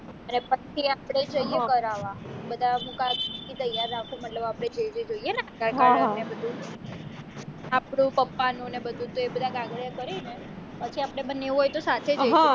ને પછી આપડે જઈએ કરાવવા બધા પુરાવા ત્યાર રાખું મતલબ આપણે જોઈએ ન આધારકાર્ડ ને એ બધું આપણું પપપણું ને બધું તો એ બધા કિયાગાદિયા કરીને પછી આપણે બંને એવું હોય તો સાથે જઈશું